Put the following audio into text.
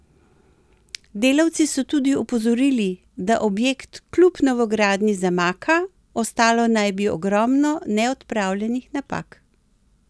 Delavci so tudi opozorili, da objekt kljub novogradnji zamaka, ostalo naj bi ogromno neodpravljenih napak.